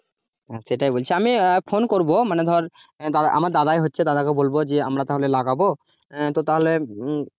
হ্যাঁ সেটাই বলছি আমি ফোন করবো মানে ধর আমার দাদাই হচ্ছে দাদাকে বলব যে, আমরা তাহলে লাগাবো তো তাহলে একবার